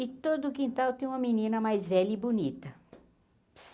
E todo quintal tem uma menina mais velha e bonita.